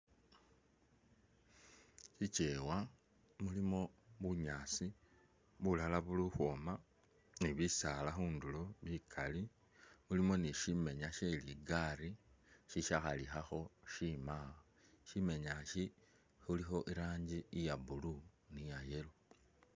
Itchewa mulimo bunyaasi, bulala buli ukhwoma ni bisaala bikali khundulo bikali, mulimo ni shimenya shye ligali shishakhalikhakho shimawo, shimenya ishi khulikho iranji iya blue ni iya yellow